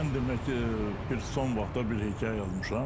Mən demək bir son vaxtlar bir hekayə yazmışam.